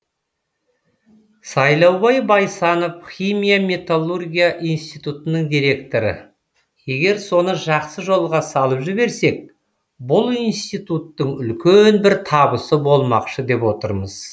сайлаубай байсанов химия металлургия институтының директоры егер соны жақсы жолға салып жіберсек бұл институттың үлкен бір табысы болмақшы деп отырмыз